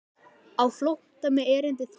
Á flótta mig erindi þrýtur.